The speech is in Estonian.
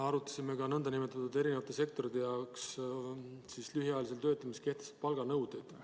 Arutasime ka erinevate sektorite jaoks kehtestatud lühiajalise töötamise palganõudeid.